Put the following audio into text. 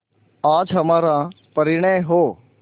आज हमारा परिणय हो